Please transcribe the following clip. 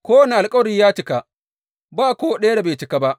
Kowane alkawari ya cika; ba ko ɗaya da bai cika ba.